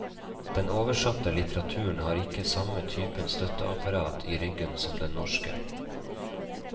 Den oversatte litteraturen har ikke samme typen støtteapparat i ryggen som den norske.